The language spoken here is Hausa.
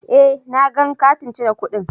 Eh, na gang kati cire kudin.